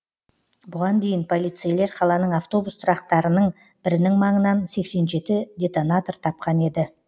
бұған дейін полицейлер қаланың автобус тұрақтарының бірінің маңынан сексен жеті детонатор тапқан еді